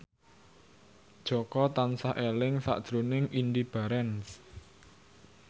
Jaka tansah eling sakjroning Indy Barens